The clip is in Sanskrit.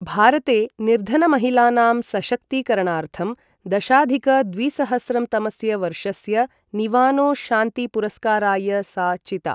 भारते निर्धनमहिलानां सशक्तीकरणार्थं दशाधिक द्विसहस्रं तमस्य वर्षस्य निवानो शान्ति पुरस्काराय सा चिता।